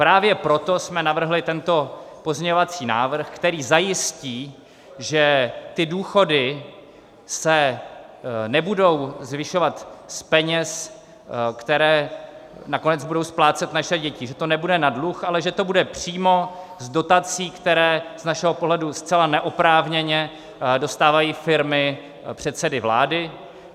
Právě proto jsme navrhli tento pozměňovací návrh, který zajistí, že ty důchody se nebudou zvyšovat z peněz, které nakonec budou splácet naše děti, že to nebude na dluh, ale že to bude přímo z dotací, které z našeho pohledu zcela neoprávněně dostávají firmy předsedy vlády.